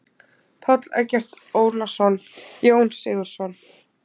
Páll Eggert Ólason: Jón Sigurðsson.